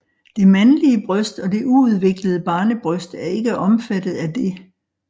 Det mandlige bryst og det uudviklede barnebryst er ikke omfattet af det